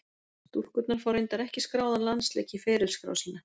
Stúlkurnar fá reyndar ekki skráðan landsleik í ferilskrá sína.